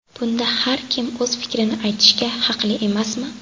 Bunda har kim o‘z fikrini aytishga haqli emasmi?